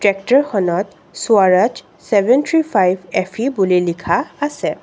ট্ৰেক্টৰখনত Swaraj seven three five F E বুলি লিখা আছে।